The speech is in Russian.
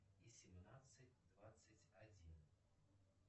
и семнадцать двадцать один